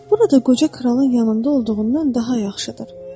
Burada qoca kralın yanında olduğundan daha yaxşıdır.